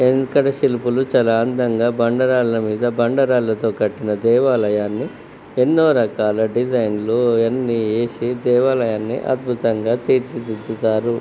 వెంకట శిల్పులు చాలా అందంగా బండ రాళ్ళ మీద బండ రాళ్ళతో కట్టిన దేవాలయాన్ని ఎన్నో రకాల డిజైన్ల అన్ని వేసి దేవాలయాన్ని అద్భుతంగా తీర్చిదిద్దుతారు.